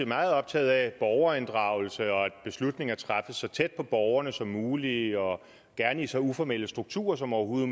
meget optaget af borgerinddragelse og af at beslutninger træffes så tæt på borgerne som muligt og gerne i så uformelle strukturer som overhovedet